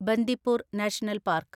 Bandipur national park